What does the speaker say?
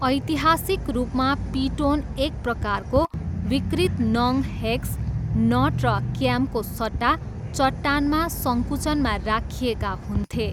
ऐतिहासिक रूपमा, पिटोन एक प्रकारको विकृत नङ हेक्स, नट र क्यामको सट्टा चट्टानमा सङ्कुचनमा राखिएका हुन्थे।